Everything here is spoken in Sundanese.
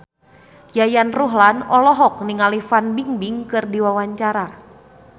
Yayan Ruhlan olohok ningali Fan Bingbing keur diwawancara